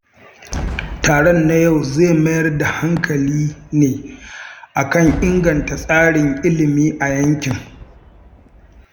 Taron na yau zai mayar da hankali ne kan inganta tsarin ilimi a yankin.